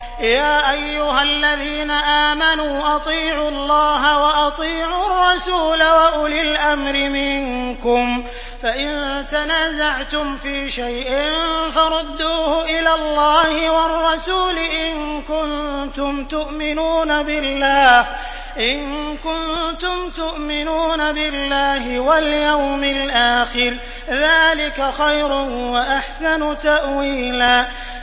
يَا أَيُّهَا الَّذِينَ آمَنُوا أَطِيعُوا اللَّهَ وَأَطِيعُوا الرَّسُولَ وَأُولِي الْأَمْرِ مِنكُمْ ۖ فَإِن تَنَازَعْتُمْ فِي شَيْءٍ فَرُدُّوهُ إِلَى اللَّهِ وَالرَّسُولِ إِن كُنتُمْ تُؤْمِنُونَ بِاللَّهِ وَالْيَوْمِ الْآخِرِ ۚ ذَٰلِكَ خَيْرٌ وَأَحْسَنُ تَأْوِيلًا